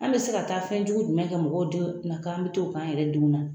An bɛ se ka taa fɛnjugu jumɛn kɛ mɔgɔw denw na ko an bɛ taa o k'an yɛrɛ denw na